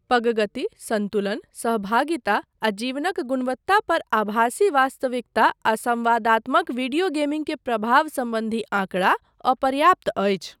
पग गति, सन्तुलन, सहभागिता आ जीवनक गुणवत्ता पर आभासी वास्तविकता आ संवादात्मक वीडियो गेमिंग के प्रभाव सम्बन्धी आँकड़ा अपर्याप्त अछि।